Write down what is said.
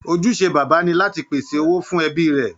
Ojúṣe Bàbá ni láti pèsè owó fún ẹbí rẹ̀